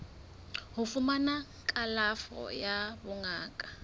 ho fumana kalafo ya bongaka